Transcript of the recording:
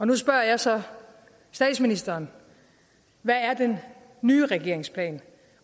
nu spørger jeg så statsministeren hvad er den nye regerings plan